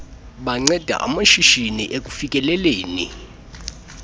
banceda amashishini ekufikeleleni